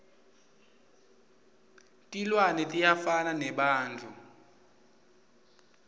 tilwane tiyafana nebantfu